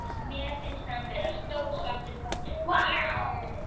Mér finnst hann vera stór svartur köttur.